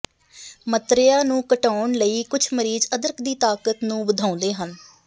ਮਤਰੇਆ ਨੂੰ ਘਟਾਉਣ ਲਈ ਕੁਝ ਮਰੀਜ਼ ਅਦਰਕ ਦੀ ਤਾਕਤ ਨੂੰ ਵਧਾਉਂਦੇ ਹਨ